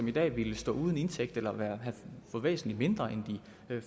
i dag ville stå uden indtægt eller ville få væsentlig mindre end de